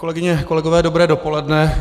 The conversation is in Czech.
Kolegyně, kolegové dobré dopoledne.